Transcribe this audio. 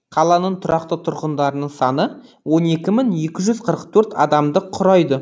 қаланың тұрақты тұрғындарының саны онекі мың екі жүз қырық төрт адамды құрайды